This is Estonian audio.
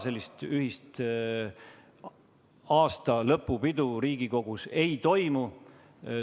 Sellist ühist aastalõpupidu Riigikogus ei toimu.